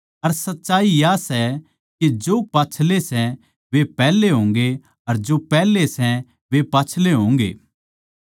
अर सच्चाई या सै के जो पाच्छले सै वे पैहले होंगे अर जो पैहले सै वे पाच्छले होंगे